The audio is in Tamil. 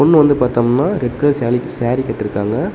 அப்ரோமா வந்து பாத்தம்னா ரெட் கலர் சேலி சேரி கட்டிருக்காங்க.